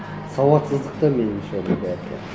сауатсыздықта меніңше оның бәрі де